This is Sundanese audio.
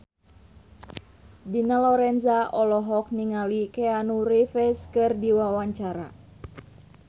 Dina Lorenza olohok ningali Keanu Reeves keur diwawancara